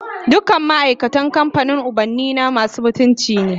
Dukan ma'aikatan kamfanin ubannina masu aminci ne